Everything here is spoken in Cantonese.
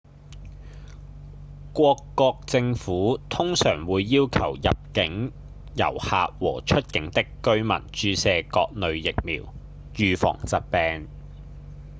各國政府通常會要求入境的遊客和出境的居民注射各類疫苗預防疾病